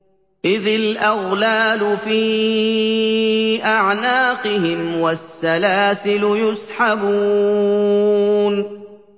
إِذِ الْأَغْلَالُ فِي أَعْنَاقِهِمْ وَالسَّلَاسِلُ يُسْحَبُونَ